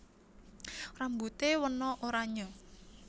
Rambute wena oranye